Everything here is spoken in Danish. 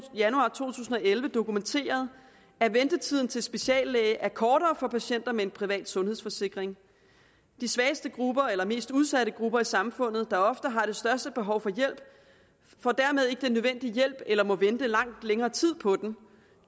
januar to tusind og elleve dokumenteret at ventetiden til speciallæge er kortere for patienter med en privat sundhedsforsikring de svageste grupper eller mest udsatte grupper i samfundet der ofte har det største behov for hjælp får dermed ikke den nødvendige hjælp eller må vente i langt længere tid på den